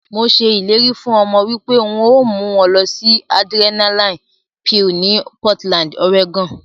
Mo se ileri fun omo wipe n o mu won losi Adrenaline Peal ni Portland, Oregon.